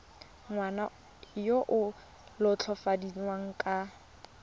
ngwana yo o latofadiwang ka